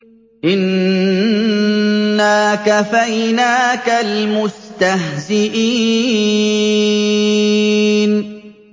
إِنَّا كَفَيْنَاكَ الْمُسْتَهْزِئِينَ